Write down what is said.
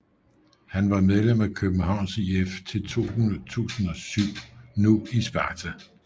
Han var medlem af Københavns IF til 2007 nu i Sparta